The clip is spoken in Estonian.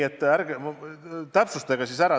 Täpsustage see asi siis üle.